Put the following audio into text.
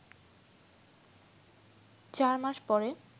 ৪ মাস পরে